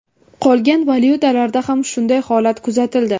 Qolgan valyutalarda ham shunday holat kuzatildi.